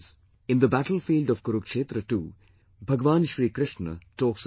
In the battlefield of Kurukshetra too, Bhagwan Shri Krishna talks of trees